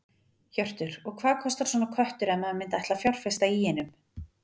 Hjörtur: Og hvað kostar svona köttur ef maður myndi ætla að fjárfesta í einum?